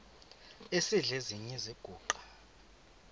esidl eziny iziguqa